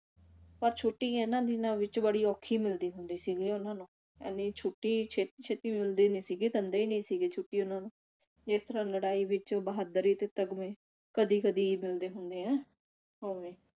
ਪਰ ਛੁੱਟੀ ਇਨ੍ਹਾਂ ਦਿਨਾਂ ਵਿਚ ਬੜੀ ਔਖੀ ਮਿਲਦੀ ਹੁੰਦੀ ਸੀਗੀ ਉਨਾਂ ਨੂੰ ਇਨੀ ਛੁੱਟੀ ਛੇਤੀ ਛੇਤੀ ਮਿਲਦੀ ਨਹੀ ਸੀਗੀ ਦਿੰਦੇ ਨਹੀ ਸੀਗੇ ਛੁੱਟੀ ਉਨਾਂ ਨੂੰ ਜਿਸ ਤਰ੍ਹਾਂ ਲੜਾਈ ਵਿਚ ਬਹਾਦਰੀ ਤੇ ਤਗਮੇ ਕਦੀ ਕਦੀ ਮਿਲਦੇ ਹੁੰਦੇ ਆ ਉਵੇਂ